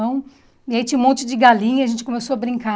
E aí tinha um monte de galinha, a gente começou a brincar.